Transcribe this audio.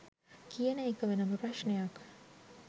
කියන එක වෙනම ප්‍රශ්ණයක්.